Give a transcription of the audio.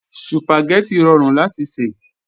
Sùpàgẹ́tì rọrùn láti sè